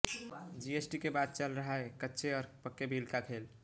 GST के बाद चल रहा है कच्चे और पक्के बिल का खेल